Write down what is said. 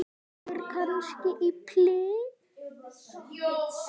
Gengur kannski í pilsi?